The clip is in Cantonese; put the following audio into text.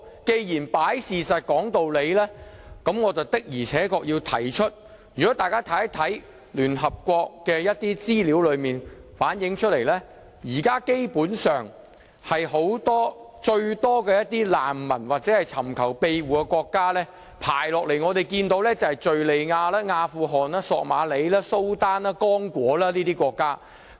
既然是擺事實，講道理，那麼我要指出請大家看一看聯合國的一些資料，所反映的是現在最多難民或尋求庇護的國家排名，分別是敘利亞、阿富汗、索馬里、蘇丹、剛果等國家。